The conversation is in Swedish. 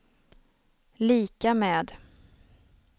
lika med